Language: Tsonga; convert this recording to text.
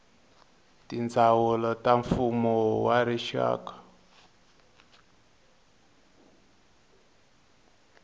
tindzawulo ta mfumo wa rixaka